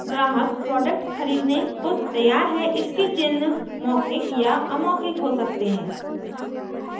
ग्राहक प्रोडक्ट खरीदने को तैयार है इसके चिन्ह मौखिक या अमौखिक हो सकते हैं